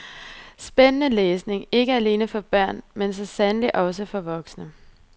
Spændende læsning, ikke alene for børn, men så sandelig også for voksne.